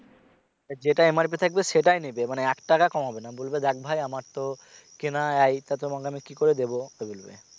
যেটা MRP থাকবে সেটাই নিবে মানে এক টাকা কমাবে না বলবে দেখ ভাই আমার তো কেনা হ্যা এইটা তোমাকে কি করে দিবো বলবে